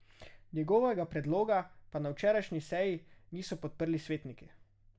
Njegovega predloga pa na včerajšnji seji niso podprli svetniki.